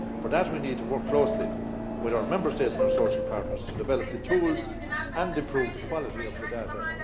For that, we need to work closely with our Member States and our social partners to develop the tools and to improve the quality of the data.